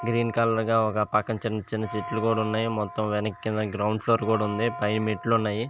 Green colour గా పక్కన చిన్న చెట్లు కూడా ఉన్నాయి. మొత్తం వెనకాల కింద గ్రౌండ్ ఫ్లోర్ కూడా ఉంది. పైన మెట్లు ఉన్నాయి.